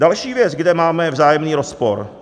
Další věc, kde máme vzájemný rozpor.